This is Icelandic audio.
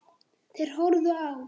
Þeir horfðu á.